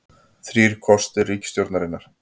Þrír kostir ríkisstjórnarinnar